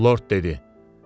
Lord dedi: